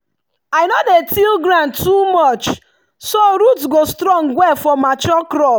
i no dey till ground too much so root go strong well for mature crop.